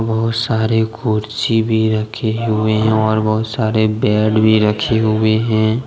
बहुत सारे कुर्सी भी रखे हुए हैं और बहुत सारे बेड भी रखे हुए हैं।